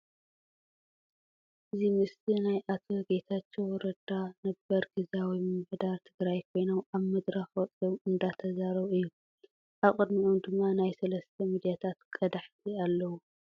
እዚ ምስሊ ናይ ኣቶ ጌታቸዉ ረዳ ነበር ግዚያዊ ምምሕዳር ትግራይ ኮይኖም ኣብ መድረኽ ወጺኦም እንዳተዛረቡ እዩ። ኣብ ቅድሚኦም ድማ ናይ 3 ሚድያታት ቀዳሕቲ ኣለዉ።